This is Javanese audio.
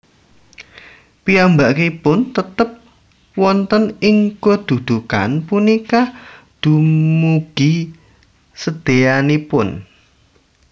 Piyambakipun tetp wonten ing kedudukan punika dumugi sdéanipun